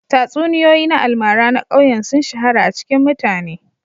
Tatsuniyoyi na almara na ƙauyen sun shahara a cikin mutane